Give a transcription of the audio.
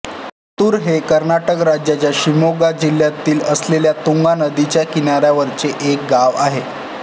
मात्तूर हे कर्नाटक राज्याच्या शिमोगा जिल्ह्यात असलेल्या तुंगा नदीच्या किनाऱ्यावरचे एक गाव आहे